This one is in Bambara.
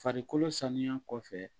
Farikolo sanuya kɔfɛ